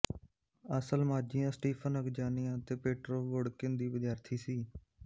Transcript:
ਅਸਲਮਾਜ਼ੀਆਂ Stephen ਅਗਜਾਨੀਆਂ ਅਤੇ Petrov Vodkin ਦੀ ਵਿਦਿਆਰਥੀ ਸੀ